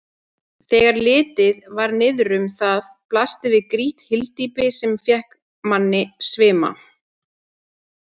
Þegar litið var niðrum það blasti við grýtt hyldýpi, sem fékk manni svima.